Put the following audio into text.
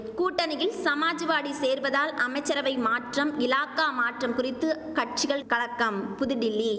கூட்டணியில் சமாஜ்வாடி சேர்வதால் அமைச்சரவை மாற்றம் இலாகா மாற்றம் குறித்து கட்சிகள் கலக்கம் புதுடில்லி